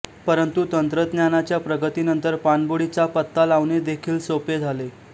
परंतु तंत्रज्ञानाच्या प्रगती नंतर पाणबुडींचा पत्ता लावणे देखील सोपे झाले